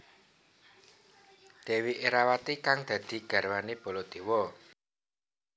Dèwi Erawati kang dadi garwané Baladéwa